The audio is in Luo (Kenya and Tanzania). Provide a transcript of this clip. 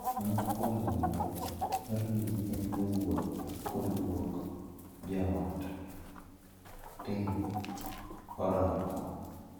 Moko kuom jonyuol dwaro ni nyithindgi owuoth kod guo joot mondo otim orako.